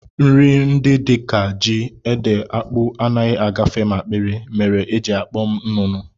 Nri ndị dịka ji, ede, akpụ, anaghị agafe m akpịrị mere e ji akpọ m nnụnụ